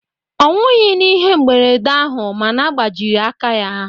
Ọ nwughị n'ihe mberede ahụ ma na gbajiri aka ya